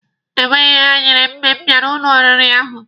Enweghị ihe ha nyere m mgbe m bịara n'ụlọ oriri ahụ.